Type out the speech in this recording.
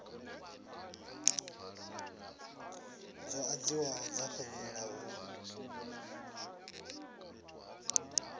dzo ḓadziwaho dza fhelela hu